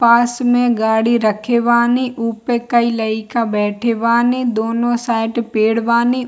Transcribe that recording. पास में गाड़ी रखे बानी उपे कई लयका बैठे बानी दोनो साईड पेड़ बानी।